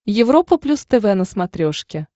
европа плюс тв на смотрешке